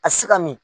A si ka min